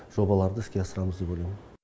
жобаларды іске асырамыз деп ойлаймын